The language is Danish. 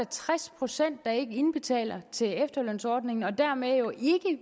tres procent der ikke indbetaler til efterlønsordningen og dermed jo